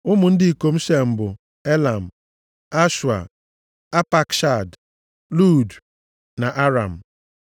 Ụmụ ndị ikom Shem bụ Elam, + 10:22 Aha ochie e ji mara Asịrịa. Ashua, Apakshad, Lud na Aram.